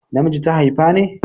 Na miji ta haifa ne?